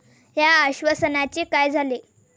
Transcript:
या आश्वासनांचे काय झाले?